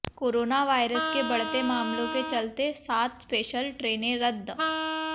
corona virus के बढ़ते मामलों के चलते सात स्पेशल ट्रेनें रद्द